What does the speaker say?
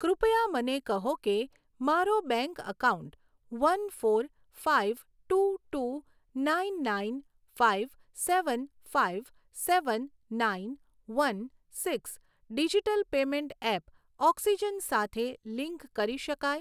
કૃપયા મને કહો કે મારો bank account one four five two two nine nine five seven five seven nine one six digital payment app Oxygen સાથે link કરી શકાય